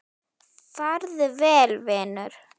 Farðu vel, vinur.